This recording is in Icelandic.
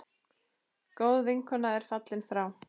Góð vinkona er fallin frá.